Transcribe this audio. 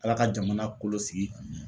Ala ka jamana kolo sigi.